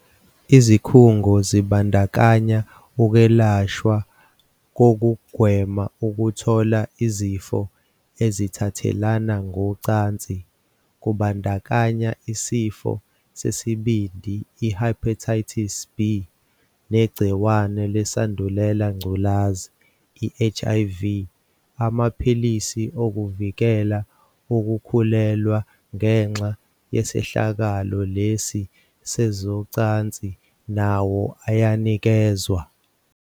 "Izikhungo zibandakanya ukwelashwa kokugwema ukuthola izifo ezithathelana ngocansi kubandakanya isifo sesibindi, i-Hepatitis B, negci wane leSandulelangculazi, i-HIV. Amaphilisi okuvikela ukukhulelwa ngenxa yesehlakalo lesi sezocansi nawo ayanikezwa."